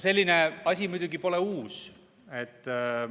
Selline asi muidugi pole uus.